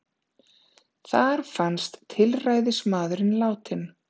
Þar fannst tilræðismaðurinn látinn